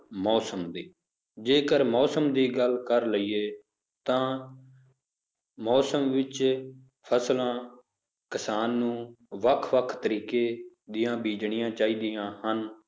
ਮੌਸਮ ਦੀ ਜੇਕਰ ਮੌਸਮ ਦੀ ਗੱਲ ਕਰ ਲਈਏ ਤਾਂ ਮੌਸਮ ਵਿੱਚ ਫਸਲਾਂ ਕਿਸਾਨ ਨੂੰ ਵੱਖ ਵੱਖ ਤਰੀਕੇ ਦੀਆਂ ਬੀਜਣੀਆਂ ਚਾਹੀਦੀਆਂ ਹਨ,